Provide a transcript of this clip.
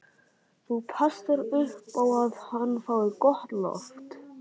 Þú passar upp á að hann fái gott loft.